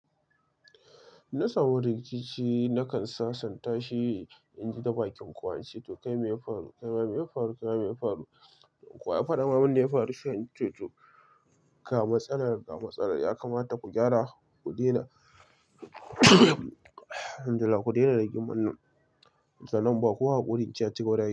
Na samu rikici nakan sasanta shi in ji ta bakin kowa ince to kai mai faru, kai ma mai faru, kai ma mai faru. Ko wa ya faɗa mun abunda ya faru? Sai ince to, ga matsalar, ga matsalar yakamata ku gyara, ku daina alhamdu lillah ku daina rigimar nan sannan inbawa kowa hakuri ince aci gaba da aiki.